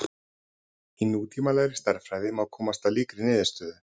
í nútímalegri stærðfræði má komast að líkri niðurstöðu